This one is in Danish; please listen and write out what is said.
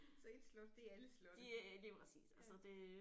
Så 1 slot det er alle slotte ja